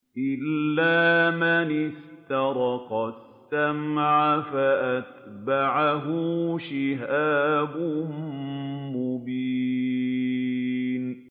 إِلَّا مَنِ اسْتَرَقَ السَّمْعَ فَأَتْبَعَهُ شِهَابٌ مُّبِينٌ